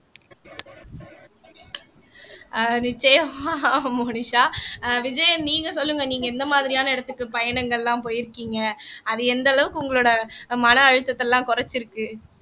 ஆஹ் நிச்சயம மோனிஷா ஆஹ் விஜயன் நீங்க சொல்லுங்க நீங்க இந்த மாதிரியான இடத்துக்கு பயணங்கள் எல்லாம் போயிருக்கீங்க அது எந்த அளவுக்கு உங்களோட மன அழுத்தத்தை எல்லாம் குறைச்சிருக்கு